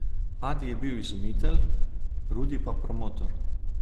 Adi je bil izumitelj, Rudi pa promotor.